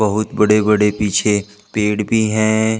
बहुत बड़े बड़े पीछे पेड़ भी है।